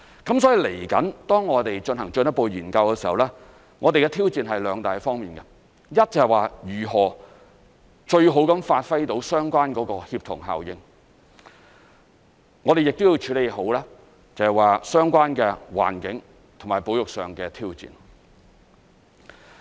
所以，接下來當我們進行進一步研究時，我們的挑戰是兩大方面，一是如何最好地發揮相關的協同效應，我們亦要處理好相關環境和保育上的挑戰。